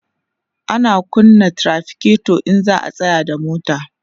ana kunna trafiketo in za'a tsayar da mota